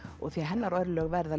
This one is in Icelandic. því hennar örlög verða